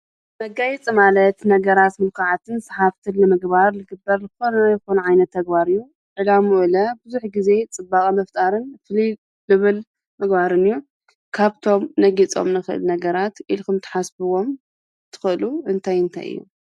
መጋየፂ ማለት ነገራት ሙልኩዓትን ሰሓብትን ንምግባር ዝግበር ዝኾነ ይኹን ዓይነት ተግባር እዩ ዕላመኡ ለ ብዙሕ ግዜ ፅባቐ ምፍጣርን ፈልይ ዝብል ምግባርን እዩ ።ካብቶም ነግይፆም እንኽእል ነገራት ኢልኩም ትሓስብዎም ትኽእሉ እንታይ እንታይ እዮም ?